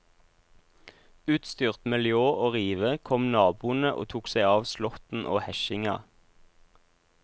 Utstyrt med ljå og rive kom naboene og tok seg av slåtten og hesjinga.